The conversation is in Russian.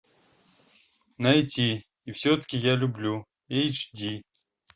найти и все таки я люблю эйч ди